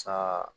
Sa